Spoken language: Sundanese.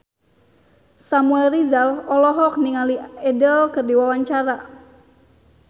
Samuel Rizal olohok ningali Adele keur diwawancara